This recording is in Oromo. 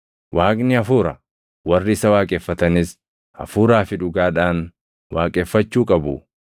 Waaqni hafuura; warri isa waaqeffatanis Hafuuraa fi dhugaadhaan waaqeffachuu qabu.”